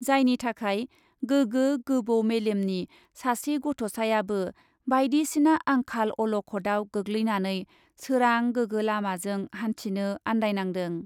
जायनि थाखाय गोगो गोबौ मेलेमनि सासे गथ'सायाबो बाइदिसिना आंखाल , अलखदआव गोग्लैनानै सोरां गोगो लामाजों हान्थिनो आन्दायनांदों ।